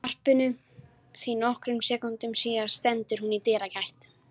varpinu því nokkrum sekúndum síðar stendur hún í dyragætt